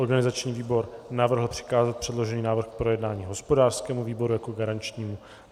Organizační výbor navrhl přikázat předložený návrh k projednání hospodářskému výboru jako garančnímu.